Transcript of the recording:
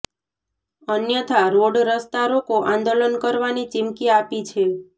અન્યથા રોડ રસ્તા રોકો આંદોલન કરવાની ચીમકી આપી છે